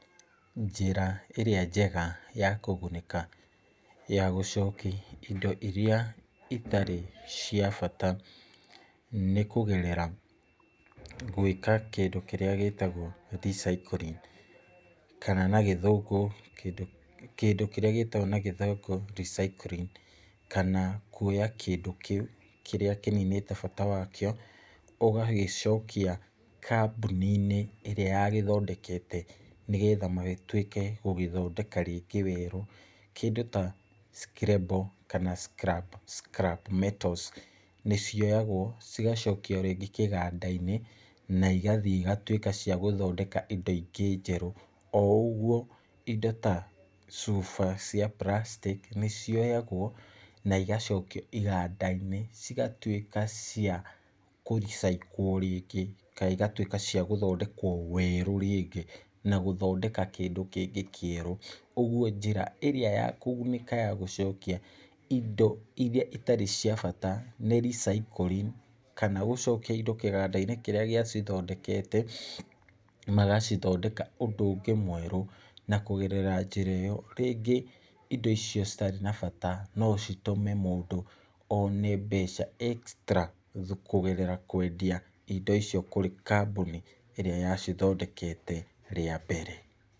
Njĩra ĩrĩa njega ya kũgunĩka gũcokia indo iria itarĩ cia bata , nĩ kũgerera kĩndũ kĩrĩa gĩtagwo recycling, kana na gĩthũngũ kĩndũ kĩrĩa gĩtagwo na gĩthũngũ recycling , kana kuoya kĩndũ kĩu kĩninite bata wakĩo ũgagĩcokia kambũni-inĩ ĩrĩa yagĩthondekete, nĩgetha magĩtwĩke gũgĩthondeka rĩngĩ weru , kĩndũ ta screbo kana [cs[ scrabe metals, n cioyagwo cigacokio rĩngĩ kĩganda-inĩ, nĩ igathiĩ igatwĩka cia gũthondeka indo ingĩ njeru , o ũgwo indo ta cuba cia plastic nĩ cioyagwo na igacokio iganda-inĩ, cigatwĩka cia kũricyĩkwo rĩngĩ, kana igatwĩka cia gũthondekwo weru rĩngĩ na gũthondeka kĩndũ kĩngĩ kĩeru , ũgwo njĩra ĩrĩa ya kũgunĩka ya gũcokia indo iria itarĩ cia bata nĩ recycling, kana gũcokia indo kĩganda-inĩ kĩrĩa gĩa cithondekete , magacithondeka ũndũ ũngĩ mweru , na kũgerera njĩra ĩyo rĩngĩ indo icio citarĩ na bata no citũme mũndũ one mbeca extra kũgerera kwendia indo icio kũrĩ kambũni ĩrĩa yacithondekete rĩa mbere.